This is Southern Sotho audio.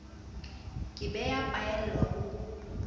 ke be ya phaellwa ho